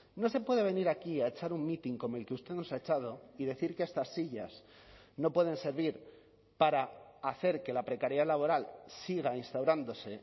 no se puede venir aquí a echar un mitin como el que usted nos ha echado y decir que estas sillas no pueden servir para hacer que la precariedad laboral siga instaurándose